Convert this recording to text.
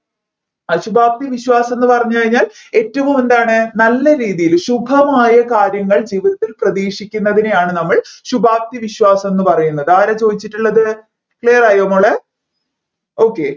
അഹ് ശുഭാപ്തി വിശ്വാസം എന്ന് പറഞ്ഞുകഴിഞ്ഞാൽ ഏറ്റവും എന്താണ് നല്ല രീതിയിൽ ശുഭമായ കാര്യങ്ങൾ ജീവിതത്തിൽ പ്രതീക്ഷിക്കുന്നതിനെയാണ് നമ്മൾ ശുഭാപ്തി വിശ്വാസം എന്ന് പറയുന്നത് ആരാ ചോദിച്ചിട്ടുള്ളത് clear റായോ മോളെ okay